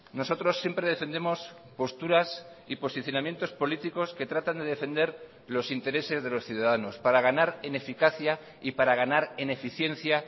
nosotros siempre defendemos posturas y posicionamientos políticos que tratan de defender los intereses de los ciudadanos para ganar en eficacia y para ganar en eficiencia